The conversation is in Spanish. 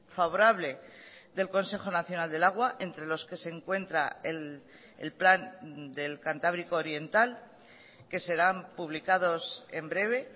favorable del consejo nacional del agua entre los que se encuentra el plan del cantábrico oriental que serán publicados en breve